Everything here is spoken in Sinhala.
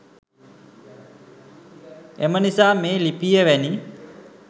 එම නිසා මේ ලිපිය වැනි